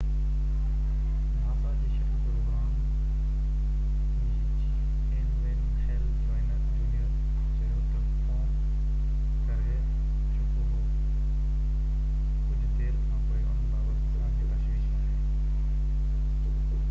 nasa جي shuttle programme جي chief N Wayne Hale junior چيو تہ، فوم ڪري چڪو هو ڪجهہ دير کانپوءِ ان بابت اسان کي تشويش آهي